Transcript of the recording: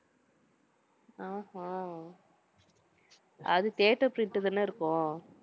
ஆஹ் hmm அது theatre print தானே இருக்கும்.